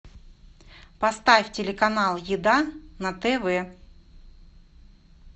поставь телеканал еда на тв